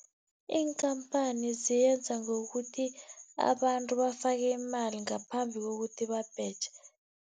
Iinkhamphani ziyenza ngokuthi, abantu bafake imali ngaphambi kokuthi babheje.